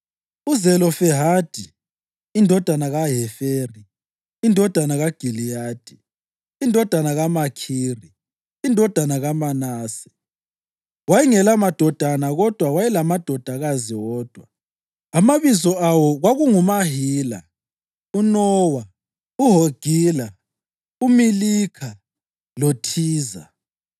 UZelofehadi indodana kaHeferi, indodana kaGiliyadi, indodana kaMakhiri indodana kaManase, wayengelamadodana kodwa wayelamadodakazi wodwa, amabizo awo kwakunguMahila, uNowa, uHogila, uMilikha loThiza.